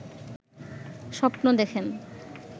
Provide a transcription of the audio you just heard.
স্বপ্ন দেখেন